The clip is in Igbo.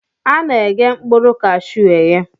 A na-eghe mkpụrụ kashuu eghe